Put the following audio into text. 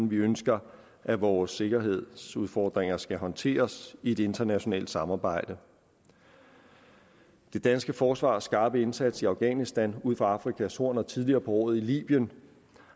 vi ønsker at vores sikkerhedsudfordringer skal håndteres i et internationalt samarbejde det danske forsvars skarpe indsats i afghanistan ud for afrikas horn og tidligere på året i libyen